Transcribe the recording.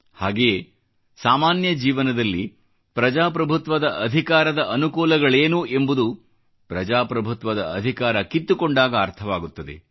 ಹಾಗೆಯೇ ಸಾಮಾನ್ಯ ಜೀವನದಲ್ಲಿ ಪ್ರಜಾಪ್ರಭುತ್ವದ ಅಧಿಕಾರದ ಅನುಕೂಲಗಳೇನು ಎಂಬುದು ಪ್ರಜಾಪ್ರಭುತ್ವದ ಅಧಿಕಾರ ಕಿತ್ತುಕೊಂಡಾಗ ಅರ್ಥವಾಗುತ್ತದೆ